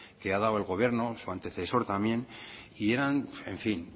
que ha dado el gobierno su antecesor también y eran en fin